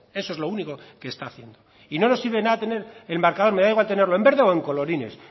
eso es lo único que está haciendo y no nos sirve de nada tener el marcador me da igual tenerlo en verde o en colorines